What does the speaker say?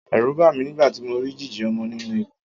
Ẹ̀rù bà mí nígbà tí mo rí jíjì ọmọ nínú ikùn.